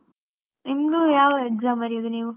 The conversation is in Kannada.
ಇನ್ನು, ಯಾವಾ exam ಬರಿಯುದು ನೀವು?